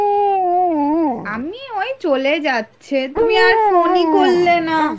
আমি ওই চলে যাচ্ছে তুমি আর phone ই করলে না ?